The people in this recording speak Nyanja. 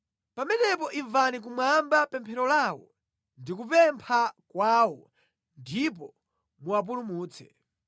pamenepo imvani kumwamba pemphero lawo ndi kupempha kwawo ndipo muwapulumutse.